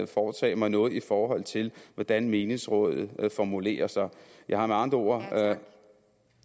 foretage mig noget i forhold til hvordan menighedsråd formulerer sig jeg har med andre ord